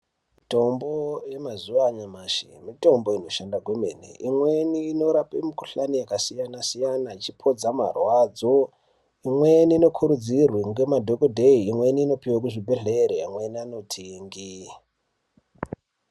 Mitombo yemazuva anyamashi, mitombo inoshanda kwemene imweni inorape mukohlani yakasiyana siyana ichipodza marwadzo imweni inokurudzirwa ngemadholoteye imweni inopiwe kuzvibhedhlere amweni anotenge